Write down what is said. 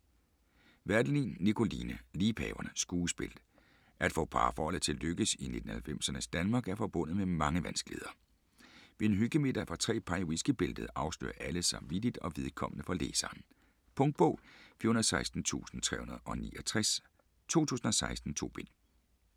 Werdelin, Nikoline: Liebhaverne: skuespil At få parforhold til at lykkes i 1990'ernes Danmark er forbundet med mange vanskeligheder. Ved en hyggemiddag for tre par i whiskybæltet afslører alle sig vittigt og vedkommende for læseren. Punktbog 416369 2016. 2 bind.